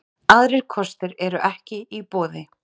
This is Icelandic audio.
Aðrir kostir eru ekki í boði